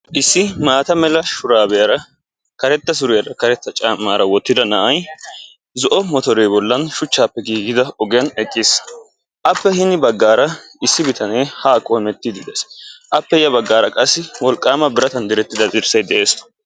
Issi maatta mala shuraabiyara kareta suriyaara karetta caammaara wottida na'ay zo"o mottore bollan shuchchaappe giigida ogiyan eqqiis, Appe hini bagaara issi bitane ha qoometidi dees appe ya baggaara qassi wolqqaama biratan direttida dirssay de'ees.